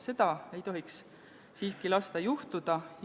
Seda ei tohiks siiski lasta juhtuda.